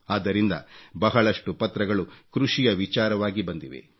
ಆದ್ದರಿಂದ ಬಹಳಷ್ಟು ಪತ್ರಗಳು ಕೃಷಿಯ ವಿಚಾರವಾಗಿ ಬಂದಿವೆ